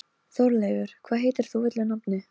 Krúttið eigraði út til að hitta þá og virtist leiðast.